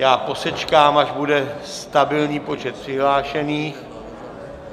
Já posečkám, až bude stabilní počet přihlášených.